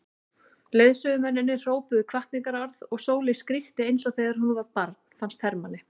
Leiðsögumennirnir hrópuðu hvatningarorð og Sóley skríkti eins og þegar hún var barn fannst Hermanni.